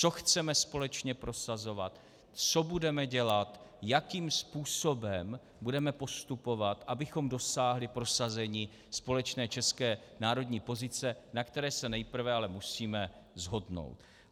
Co chceme společně prosazovat, co budeme dělat, jakým způsobem budeme postupovat, abychom dosáhli prosazení společné české národní pozice, na které se nejprve ale musíme shodnout.